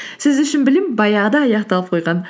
сіз үшін білім баяғыда аяқталып қойған